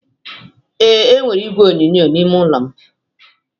ee, enwere igwe onyonyo n'ime ime ụlọ m